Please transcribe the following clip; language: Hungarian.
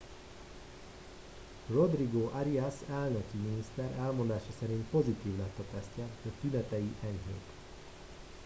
rodrigo arias elnöki miniszter elmondása szerint pozitív lett a tesztje de tünetei enyhék